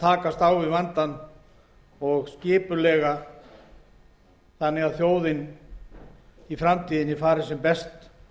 takast á við hann þannig að þjóðin fari í framtíðinni sem best